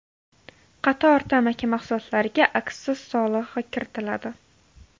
Qator tamaki mahsulotlariga aksiz solig‘i kiritiladi.